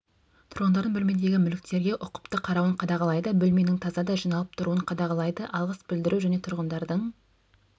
тұрғындардың бөлмедегі мүліктерге ұқыпты қарауын қадағалайды бөлменің таза да жиналып тұруын қадағалайды алғыс білдіру және тұрғындардың